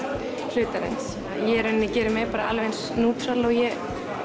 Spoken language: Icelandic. hlutarins í rauninni geri mig bara alveg eins nútral og ég